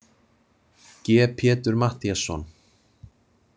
G Pétur Matthíasson.